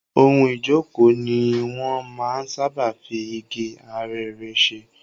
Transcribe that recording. Ohun ìjókòó ni wọn máa ń sáábà fi igi arère ṣe.